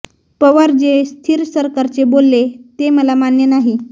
पवार जे स्थिर सरकारचे बोलले ते मला मान्य नाही